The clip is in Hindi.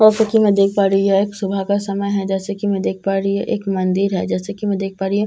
वैसे की मैं देख पा रही हूं यह सुबह का समय है जैसे की मैं देख पा रही हूं एक मंदिर है जैसे की मैं देख पा रही हूं--